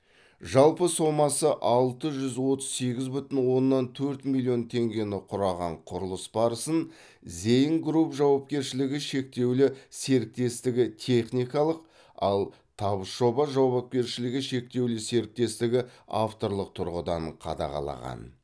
жалпы сомасы алты жүз отыз сегіз бүтін оннан төрт миллион теңгені құраған құрылыс барысын зеингрупп жауапкершілігі шектеулі серіктестігі техникалық ал табыс жоба жауапкершілігі шектеулі серіктестігі авторлық тұрғыдан қадағалаған